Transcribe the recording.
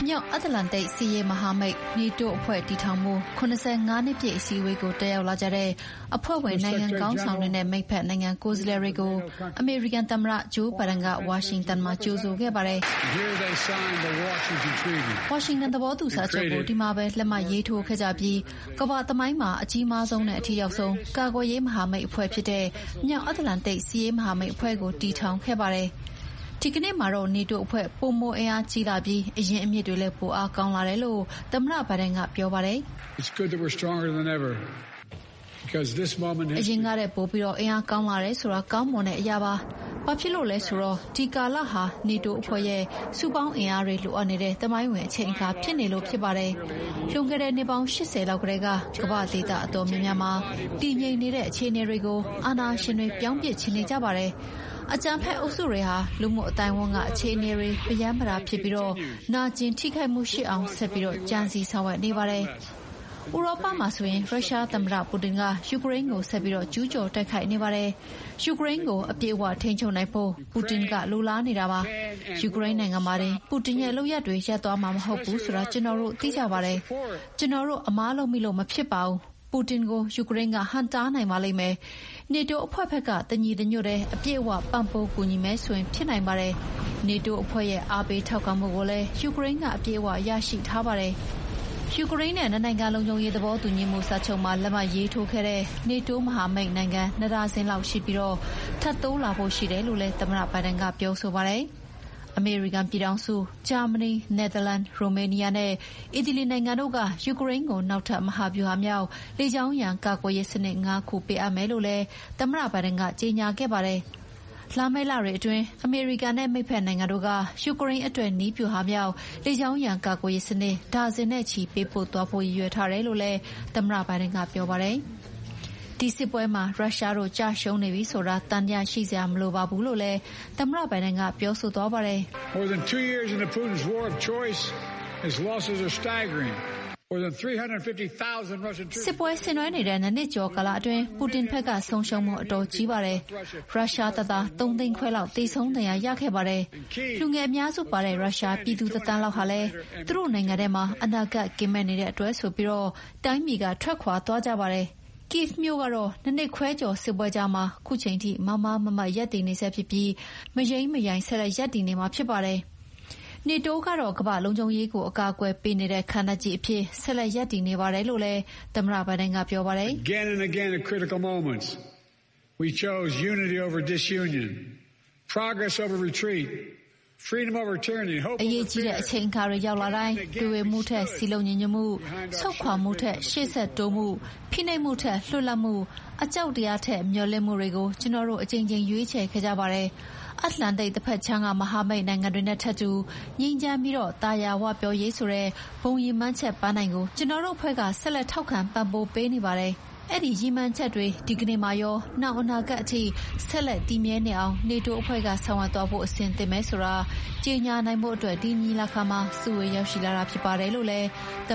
မြောက်အတ္တလန်တိတ် စစ်ရေးမဟာမိတ်(NATO) အဖွဲ့တည်ထောင်မှု ၇၅ နှစ်ပြည့်အစည်းအဝေးတက်ရောက်လာကြတဲ့ အဖွဲ့ဝင်နိုင်ငံခေါင်းဆောင်တွေနဲ့ မိတ်ဖက်နိုင်ငံကိုယ်စားလှယ်တွေကို အမေရိကန်သမ္မတ ဂျိုးဘိုင်ဒန်ကဝါရှင်တန်မှာ ကြိုဆိုခဲ့ပါတယ်။ “ဝါရှင်တန်သဘောတူစာချုပ်ကို ဒီမှာပဲ လက်မှတ်ရေးထိုးခဲ့ကြပြီး ကမ္ဘာ့သမိုင်းမှာ အကြီးမားဆုံးနဲ့ အထိရောက်ဆုံး ကာကွယ်ရေးမဟာမိတ်အဖွဲ့ဖြစ်တဲ့ မြောက်အတ္တလန်တိတ် စစ်ရေးမဟာမိတ်အဖွဲ့ကို တည်ထောင်ခဲ့ပါတယ်။” ဒီကနေ့မှာတော့ နေတိုးအဖွဲ့က ပိုမိုအင်အားကြီးလာပြီး အရင်းအမြစ်တွေလည်း ပိုကောင်းလာတယ်လို့ သမ္မတ ဘိုင်ဒန်ကပြောပါတယ်။ “အရင်ကထက် ပိုပြီး အင်အားကောင်းလာတယ်ဆိုတာ ကောင်းမွန်တဲ့အရာပါ၊ ဘာဖြစ်လို့လဲဆိုတော့ ဒီကာလဟာ နေတိုးအဖွဲ့ရဲ့ စုပေါင်းအင်အားတွေလိုအပ်နေတဲ့ သမိုင်းဝင်အချိန်အခါဖြစ်နေလို့ဖြစ်ပါတယ်။ လွန်ခဲ့တဲ့နှစ်ပေါင်း ၈၀ လောက်ကတည်းက ကမ္ဘာ့ဒေသအတော်များများမှာ တည်ငြိမ်နေတဲ့အခြေအနေတွေကို အာဏာရှင်တွေပြောင်းပစ်ချင်နေကြပါတယ်။ အကြမ်းဖက်အုပ်စုတွေဟာ လူမှုအသိုင်းအဝန်းက အခြေအနေတွေ ပရမ်းပတာဖြစ်ပြီး နာကျင်ထိခိုက်အောင် ဆက်ပြီးကြံစည်ဆောင်ရွက်နေပါတယ်။ ဥရောပမှာဆိုရင် ရရှားသမ္မတပူတင်က ယူကရိန်းကို ဆက်ပြီးကျူးကျော်တိုက်ခိုက်နေပါတယ်။ ယူကရိန်းကို အပြည့်အဝထိန်းချုပ်နိုင်ဖို့ ပူတင်ကလိုလားနေတာပါ။ ယူကရိန်းနိုင်ငံမှာတင် ပူတင်ရဲ့လုပ်ရပ်တွေ ရပ်သွားမှာမဟုတ်ဘူးဆိုတာ ကျနော်တို့သိကြပါတယ်။ ကျနော်တို့ အမှားလုပ်မိလို့မဖြစ်ပါဘူး။ ပူတင်ကို ယူကရိန်းက ဟန့်တားနိုင်ပါလိမ့်မယ်။ နေတိုးအဖွဲ့ဘက်က တညီတညွတ်တည်း အပြည့်အဝ ပံ့ပိုးကူညီမယ်ဆိုရင် ဖြစ်နိုင်ပါတယ်။ နေတိုးအဖွဲ့ရဲ့ အားပေးထောက်ခံမှုကိုလည်း ယူကရိန်းက အပြည့်အဝရရှိထားပါတယ်။” ယူကရိန်းနဲ့ နှစ်နိုင်ငံလုံခြုံရေးသဘောတူညီမှုစာချုပ်မှာ လက်မှတ်ရေးထိုးခဲ့တဲ့ နေတိုးမဟာမိတ်နိုင်ငံ ၂ ဒါဇင်လောက်ရှိပြီး ထပ်တိုးလာဖို့လည်းရှိတယ်လို့လည်း သမ္မတဘိုင်ဒန်က ပြောဆိုပါတယ်။ အမေရိကန်ပြည်ထောင်စု၊ ဂျာမနီ၊ နယ်သာလန်၊ ရိုမေးနီးယားနဲ့ အီတလီနိုင်ငံတို့က ယူကရိန်းကို နောက်ထပ်မဟာဗျူဟာမြောက် လေကြောင်းရန်ကာကွယ်ရေးစနစ် ၅ ခု ပေးအပ်မယ်လို့လည်း သမ္မတဘိုင်ဒန်က ကြေညာခဲ့ပါတယ်။ လာမယ့်လတွေအတွင်း အမေရိကန်နဲ့ မိတ်ဖက်နိုင်ငံတို့က ယူကရိန်းအတွက် နည်းဗျူဟာမြောက် လေကြောင်းရန်ကာကွယ်ရေးစနစ် ဒါဇင်နဲ့ချီပေးပို့သွားဖို့ ရည်ရွည်ထားတယ်လို့လည်း သမ္မတဘိုင်ဒန်က ပြောပါတယ်။ ဒီစစ်ပွဲမှာ ရုရှားတို့ ကျရှုံးနေပြီဆိုတာ သံသယရှိစရာမလိုပါဘူးလို့လည်း သမ္မတဘိုင်ဒန်က ပြောပါတယ်။ “စစ်ဆင်နွှဲနေတဲ့၂ နှစ်ကျော်အတွင်း ပူတင်ဘက်က ဆုံးရှုံးမှုက အတော်ကြီးပါတယ်။ ရုရှားတပ်သား ၃ သိန်းခွဲလောက် သေဆုံးဒဏ်ရာရခဲ့ပါတယ်။ လူငယ်အများစုပါတဲ့ ရုရှားပြည်သူတသန်းလောက်ဟာ သူတို့နိုင်ငံထဲမှာအနာဂတ်ကင်းမဲ့နေတဲ့အတွက်ဆိုပြီး တိုင်းပြည်ကထွက်ခွါသွားကြပါတယ်။ Kyiv မြို့ကတော့ ၂ နှစ်ခွဲကျော် စစ်ပွဲကြားမှာ ခုချိန်ထိမားမားမတ်မတ်ရပ်တည်နေဆဲဖြစ်ပြီး မယိမ်းမယိုင် ဆက်လက်ရပ်တည်နေမှာဖြစ်ပါတယ်။” နေတိုးကတော့ ကမ္ဘာ့လုံခြုံရေးကို အကာအကွယ်ပေးနေတဲ့ခံတပ်ကြီးအဖြစ် ဆက်လက်ရပ်တည်နေပါတယ်လို့လည်း သမ္မတဘိုင်ဒန်က ပြောပါတယ်။ “အရေးကြီးတဲ့အချိန်သမယရောက်တိုင်း တွေဝေမှုအစား စည်းလုံးညီညွှတ်မှု၊ ဆုတ်ခွါမှုထက် ရှေ့ဆက်တိုးတက်မှု၊ ဖိနှိပ်မှုထက် လွတ်လပ်မှု၊ အကြောက်တရားထက် မျှော်လင့်ချက်တွေကို ကျနော်တို့အကြိမ်ကြိမ်ရွေးချယ်ခဲ့ကြပါတယ်။ အတ္တလန်တိတ်တဘက်ခြမ်းက မဟာမိတ်နိုင်ငံတွေနဲ့ထပ်တူ ငြိမ်းချမ်းပြီး သာယာဝပြောရေးဆိုတဲ့ ဘုံရည်မှန်းချက်ပန်းတိုင်ကို ကျနော်တို့အဖွဲ့က ဆက်လက်ထောက်ခံပံ့ပိုးပေးနေပါတယ်။” အဲဒီရည်မှန်းချက်တွေ ဒီကနေ့မှာရော နောင်အနာဂတ်အထိ ဆက်တက်တည်မြဲနေအောင် နေတိုးအဖွဲ့က ဆောင်ရွက်သွားဖို့အဆင်သင့်ပဲဆိုတာ ကြေညာနိုင်ဖို့ ဒီညီလာခံမှာ စုဝေးရောက်ရှိလာတာဖြစ်ပါတယ်လို့ သမ